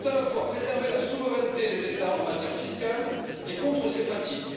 Il faut tout à la fois préserver la souveraineté des États en matière fiscale et lutter contre ces pratiques.